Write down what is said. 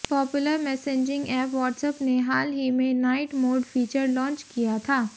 popular messaging app WhatsApp ने हाल ही में नाइट मोड फीचर लॉन्च किया था